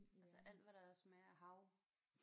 Altså alt hvad der smager af hav